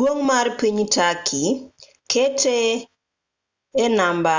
duong' mar piny turkey kete e namba